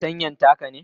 fartanyan taka ne?